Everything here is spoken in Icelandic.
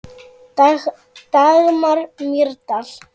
Dagmar Mýrdal.